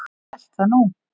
Ég hélt það nú.